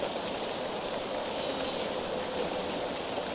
tiyindlu